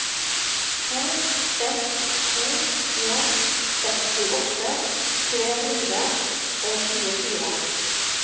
to seks to en sekstiåtte tre hundre og tjuefire